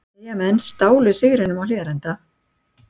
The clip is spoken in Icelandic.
Eyjamenn stálu stigunum á Hlíðarenda